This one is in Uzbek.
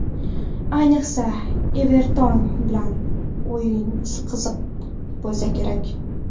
Ayniqsa, ‘Everton’ bilan o‘yin qiziq bo‘lsa kerak.